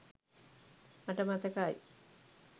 මට මතකයි